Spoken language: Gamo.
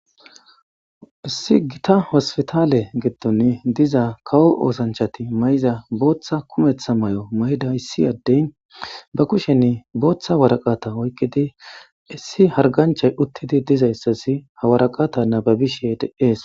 issi gita hospitaale giddon diza kawo oosanchati may7iza booththa kumeththa may7o may7ida issi addey ba kushenni booththa waraqata oykkidi issi harganchay uttidi dizayssasi hawaraqata nababishe d es